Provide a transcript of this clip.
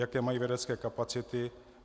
Jaké mají vědecké kapacity?